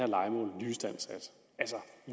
lejemål nyistandsat altså